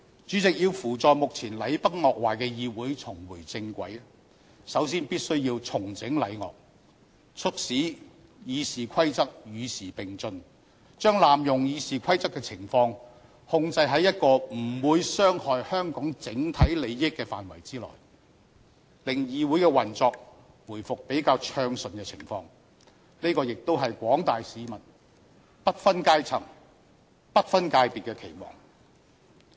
主席，要扶助目前禮崩樂壞的議會重回正軌，首先必須重整禮樂，促使《議事規則》與時並進，把濫用《議事規則》的情況控制在不會傷害香港整體利益的範圍內，令議會的運作回復比較暢順的情況，這亦是廣大市民不分階層、不分界別的期望。